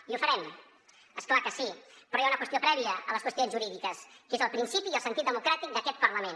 i ho farem és clar que sí però hi ha una qüestió prèvia a les qüestions jurídiques que és el principi i el sentit democràtic d’aquest parlament